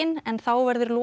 en þá verður Loki